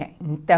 É, então...